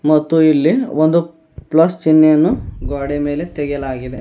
ಮತ್ತು ಇಲ್ಲಿ ಒಂದು ಪ್ಲಸ್ ಚಿಹ್ನೆಯನ್ನು ಗೋಡೆಯ ಮೇಲೆ ತೆಗೆಯಲಾಗಿದೆ.